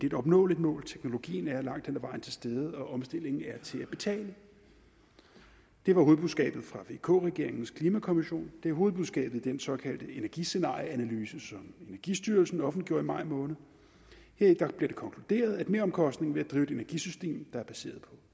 et opnåeligt mål teknologien er langt hen ad vejen til stede og omstillingen er til at betale det var hovedbudskabet fra vk regeringens klimakonvention det er hovedbudskabet i den såkaldte energiscenarieanalyse som energistyrelsen offentliggjorde i maj måned heri bliver det konkluderet at meromkostningen ved at drive et energisystem der er baseret